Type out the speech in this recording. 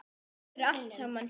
Þetta vinnur allt saman.